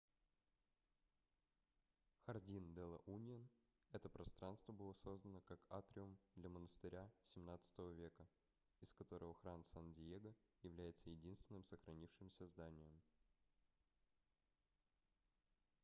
хардин-де-ла-уньон это пространство было создано как атриум для монастыря xvii века из которого храм сан-диего является единственным сохранившимся зданием